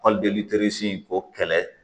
Hali ko kɛlɛ